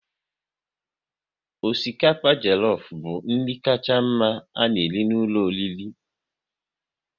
Osikapa jelofu bụ nri kacha mma a na-ere n'ụlọ oriri